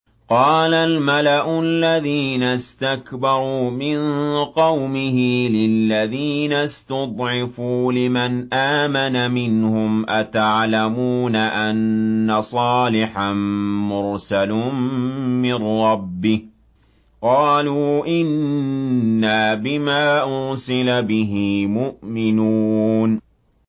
قَالَ الْمَلَأُ الَّذِينَ اسْتَكْبَرُوا مِن قَوْمِهِ لِلَّذِينَ اسْتُضْعِفُوا لِمَنْ آمَنَ مِنْهُمْ أَتَعْلَمُونَ أَنَّ صَالِحًا مُّرْسَلٌ مِّن رَّبِّهِ ۚ قَالُوا إِنَّا بِمَا أُرْسِلَ بِهِ مُؤْمِنُونَ